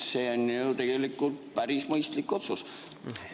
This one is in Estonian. See on ju tegelikult päris mõistlik otsus.